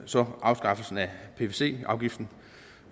så afskaffelsen af pvc afgiften